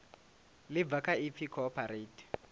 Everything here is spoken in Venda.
ḽi bva kha ipfi cooperate